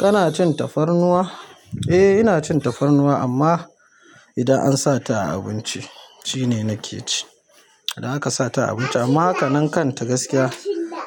Kana cin tafarnuwa? Eh ina cin tafarnuwa amma idan an sata a abinci shine nake ci idan aka sata a abinci. Amma hakanan kanta gaskiya